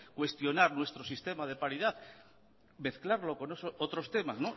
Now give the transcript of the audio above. cuestionar nuestro sistema de paridad mezclarlo con otros temas